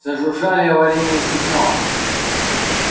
зажужжали аварийные сигналы